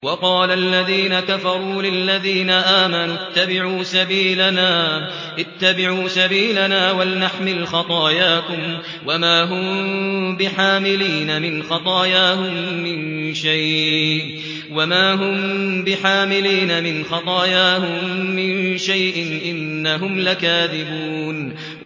وَقَالَ الَّذِينَ كَفَرُوا لِلَّذِينَ آمَنُوا اتَّبِعُوا سَبِيلَنَا وَلْنَحْمِلْ خَطَايَاكُمْ وَمَا هُم بِحَامِلِينَ مِنْ خَطَايَاهُم مِّن شَيْءٍ ۖ إِنَّهُمْ لَكَاذِبُونَ